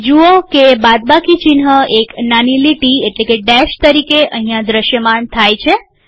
જુઓ કે બાદબાકી ચિહ્ન એક નાની લીટી ડેશ તરીકે અહીંયા દ્રશ્યમાન થાય છે